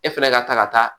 E fɛnɛ ka taa ka taa